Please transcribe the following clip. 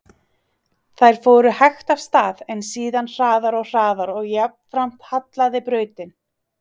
Þær fóru hægt af stað, en síðan hraðar og hraðar og jafnframt hallaði brautin.